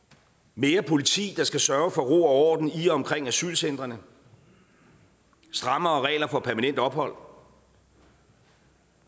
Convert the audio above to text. mere politi der skal sørge for ro og orden i og omkring asylcentrene strammere regler for permanent ophold